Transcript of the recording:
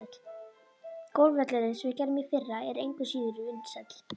Golfvöllurinn, sem við gerðum í fyrra, er engu síður vinsæll.